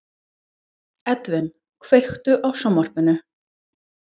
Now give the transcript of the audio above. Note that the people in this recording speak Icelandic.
Edvin, kveiktu á sjónvarpinu.